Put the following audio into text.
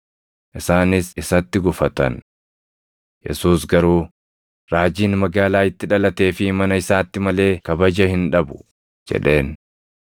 Isaanis isatti gufatan. Yesuus garuu, “Raajiin magaalaa itti dhalatee fi mana isaatti malee kabaja hin dhabu” jedheen.